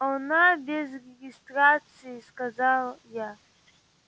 она без регистрации сказал я